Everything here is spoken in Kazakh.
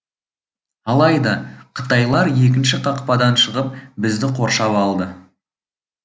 алайда қытайлар екінші қақпадан шығып бізді қоршап алды